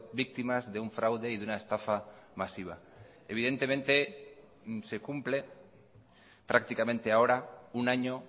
víctimas de un fraude y de una estafa masiva evidentemente se cumple prácticamente ahora un año